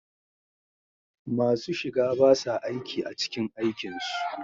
Masu shiga ba sa aiki a cikin aikin su